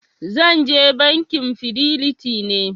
Zan je Bankin fidelity ne.